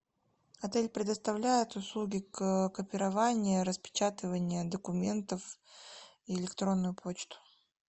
отель предоставляет услуги копирования распечатывания документов и электронную почту